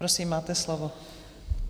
Prosím, máte slovo.